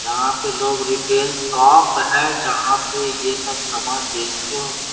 यहाँ पे लोग रिटेल शॉप है जहाँ पे ये सब सामान बेचते होंगे।